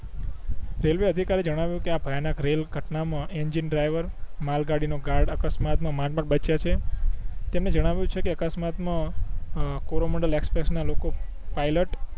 railway અધિકારી એ જણાવિયું આ ભયાનક રેલ ઘટના માં એન્જિન ડ્રાઇવર માલગાડી નો ગાર્ડ અકસ્માત માં માંડ માંડ બચીયા છે તેમણે જનવિયું છે કે અકસ્માત માં અ કોરોમંડળ એક્સપ્રેસ ના લોકો પાઇલટ